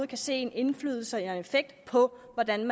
kan se en indflydelse og en effekt på hvordan